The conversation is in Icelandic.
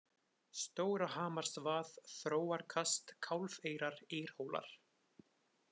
Stórahamarsvað, Þróarkast, Kálfeyrar, Eyrhólar